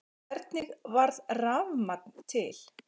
Hvernig varð rafmagn til?